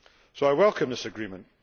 So I welcome this agreement.